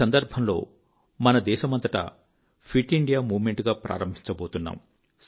ఈ సందర్భంలో మన దేశమంతటా ఫిట్ ఇండియా మూవ్ మెంట్ ప్రారంభించబోతున్నాము